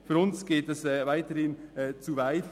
Für uns geht das weiterhin zu weit.